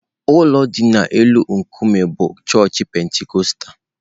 Ụlọ dị n'elu nkume bụ chọọchị Pentikọstal.